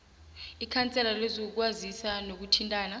ikhansela lezokwazisa nokuthintana